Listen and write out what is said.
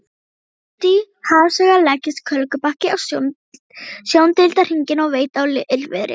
Útí hafsauga leggst kólgubakki á sjóndeildarhringinn og veit á illviðri.